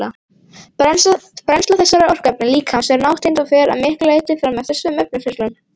Brennsla þessara orkuefna líkamans er nátengd og fer að miklu leyti fram eftir sömu efnaferlum.